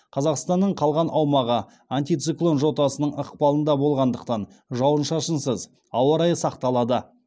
қазақстанның калған аумағы антициклон жотасының ықпалында болғандықтан жауын шашынсыз ауа райы сақталады